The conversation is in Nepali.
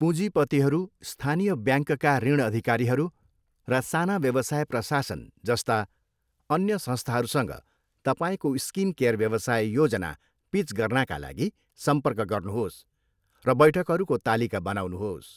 पुँजीपतिहरू, स्थानीय ब्याङ्कका ऋण अधिकारीहरू, र साना व्यवसाय प्रशासन जस्ता अन्य संस्थाहरूसँग तपाईँको स्किनकेयर व्यवसाय योजना पिच गर्नाका लागि सम्पर्क गर्नुहोस् र बैठकहरूको तालिका बनाउनुहोस्।